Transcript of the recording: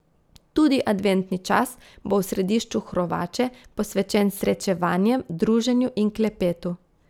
Tudi adventni čas bo v središču Hrovače posvečen srečevanjem, druženju in klepetu.